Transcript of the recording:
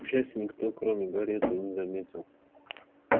к счастью никто кроме гарри этого не заметил